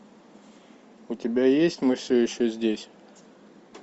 у тебя есть мы все еще здесь